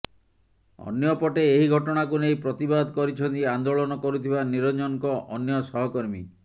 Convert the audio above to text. ଅନ୍ୟପଟେ ଏହି ଘଟଣାକୁ ନେଇ ପ୍ରତିବାଦ କରିଛନ୍ତି ଆନ୍ଦୋଳନ କରୁଥିବା ନିରଂଜନଙ୍କ ଅନ୍ୟ ସହକର୍ମୀ